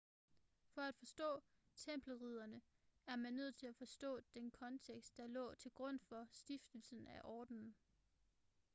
for at forstå tempelridderne er man nødt til at forstå den kontekst der lå til grund for stiftelsen af ordenen